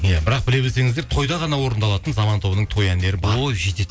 иә бірақ біле білсеңіздер тойда ғана орындалатын заман тобының той әндері бар ой жетеді